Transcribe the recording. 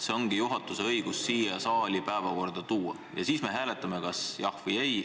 See ongi juhatuse õigus siia saali päevakord tuua ja siis me hääletame kas "jah" või "ei".